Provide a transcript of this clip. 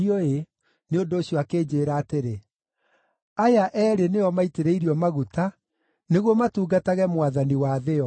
Nĩ ũndũ ũcio akĩnjĩĩra atĩrĩ, “Aya eerĩ nĩo maitĩrĩirio maguta nĩguo matungatage Mwathani wa thĩ yothe.”